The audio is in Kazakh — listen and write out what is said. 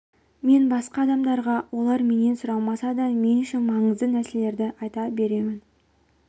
мен басқа адамдарға олар менен сұрамаса да мен үшін маңызды нәрселерді айта беремін